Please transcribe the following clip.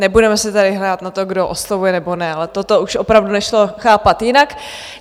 Nebudeme si tady hrát na to, kdo oslovuje nebo ne, ale toto už opravdu nešlo chápat jinak.